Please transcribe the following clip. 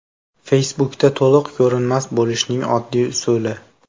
Facebook’da to‘liq ko‘rinmas bo‘lishning oddiy usuli.